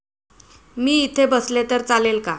मी इथे बसले तर चालेल का?